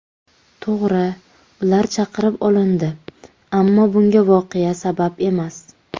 To‘g‘ri ular chaqirib olindi, ammo bunga voqea sabab emas.